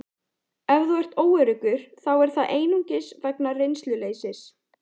Ef þú ert óöruggur þá er það einungis vegna reynsluleysis.